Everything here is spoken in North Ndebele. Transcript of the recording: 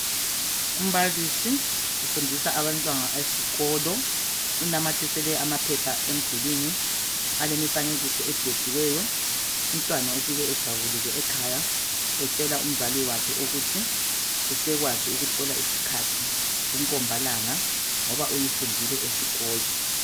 Umbalisi, ufundisa abantwana eskolo enamathisele amaphepha emdulwini alemifanekiso edwetshiweyo umntwana ufike ejabulile ekhaya etshela umzali wakhe ukuthi usekwazi ukuhlola isikhathi, umkhombalanga ngoba uyifundile esikolo.